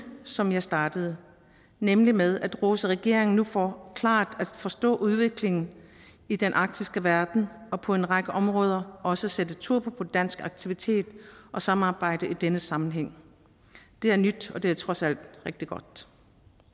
som jeg startede nemlig med at rose regeringen for nu klart at forstå udviklingen i den arktiske verden og på en række områder også sætte turbo på dansk aktivitet og samarbejde i denne sammenhæng det er nyt og det er trods alt rigtig godt